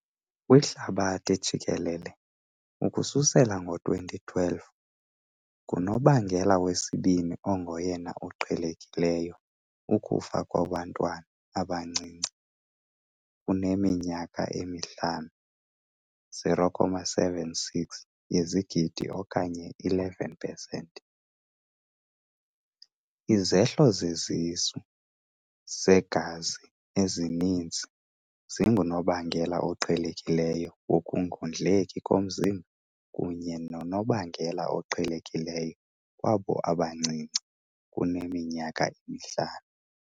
Kwihlabathi jikelele, ukususela ngo-2012, ngunobangela wesibini ongoyena uqhelekileyo ukufa kubantwana abancinci kuneminyaka emihlanu, 0.76 yezigidi okanye 11 pesenti. Izehlo zesisu segazi ezininzi zingunobangela oqhelekileyo wokungondleki komzimba kunye nonobangela oqhelekileyo kwabo abancinci kuneminyaka emihlanu.